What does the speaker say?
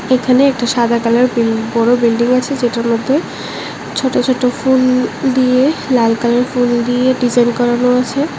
এখানে একটি সাদা কালার বিল বড় বিল্ডিং আছে যেটার মধ্যে ছোট ছোট ফুল দিয়ে লাল কালার ফুল দিয়ে ডিজাইন করানো আছে।